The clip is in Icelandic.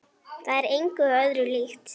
Það er engu öðru líkt.